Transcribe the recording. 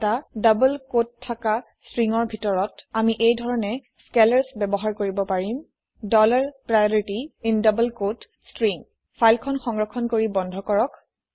এটা ডবল কোটত থকা stringsৰ ভিতৰত আমি এই ধৰণে স্কেলাৰ্ছ ব্যৱহাৰ কৰিব পাৰিম ডলাৰ প্ৰাইঅৰিটি ইন ডাবল কোঁৱতে ষ্ট্ৰিং ফাইল খন সংৰক্ষণ কৰি বন্ধ কৰক